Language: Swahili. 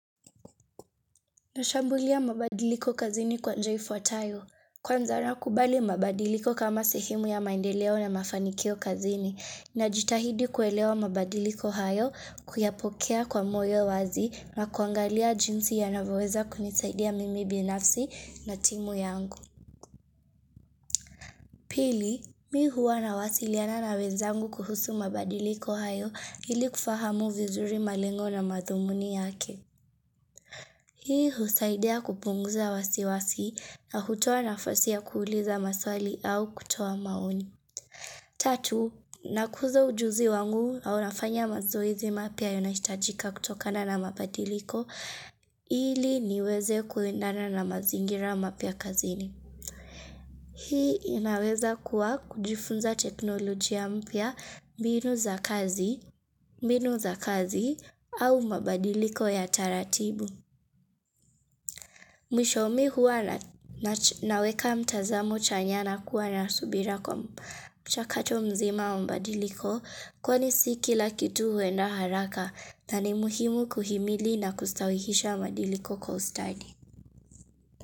Nashambulia mabadiliko kazini kwa njia ifuatayo. Kwanza nakubali mabadiliko kama sehemu ya maendeleo na mafanikio kazini. Najitahidi kuelewa mabadiliko hayo kuyapokea kwa moyo wazi na kuangalia jinsi yanavyoweza kunisaidia mimi binafsi na timu yangu. Pili, mi huwa na wasiliana na wenzangu kuhusu mabadiliko hayo ili kufahamu vizuri malengo na madhumuni yake. Hii husaidia kupunguza wasiwasi na hutoa nafasi ya kuuliza maswali au kutoa maoni. Tatu, nakuza ujuzi wangu au nafanya mazoezi mapya yanaohitajika kutokana na mabadiliko ili niweze kuendana na mazingira mapya kazini. Hii inaweza kuwa kujifunza teknolojia mpya mbinu za kazi, mbinu za kazi au mabadiliko ya taratibu. Mwisho mi huwa naweka mtazamo chanya na kuwa na subira kwa mchakacho mzima wa mabadiliko kwani si kila kitu huenda haraka na ni muhimu kuhimili na kustawihisha mabadiliko kwa ustadi.